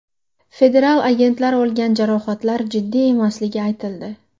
Federal agentlar olgan jarohatlar jiddiy emasligi aytildi.